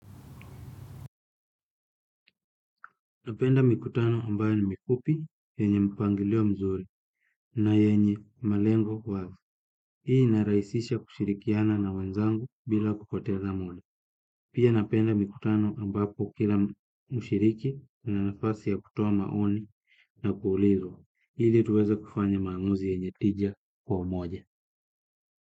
Napenda mikutano ambaye ni mifupi, yenye mpangilio mzuri na yenye malengo wazi. Hii inaraisisha kushirikiana na wenzangu bila kupoteza na muda. Pia napenda mikutano ambapo kila mshiriki ana nafasi ya kutoa maoni na kuulizwa. Ili tuweza kufanya maamuzi yenye tija kwa moja.